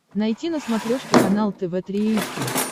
найти на смотрешке канал тв три эйч ди